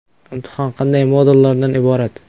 Imtihon qanday modullardan iborat?